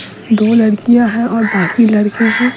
दो लड़कियां हैं और बाकी लड़के हैं।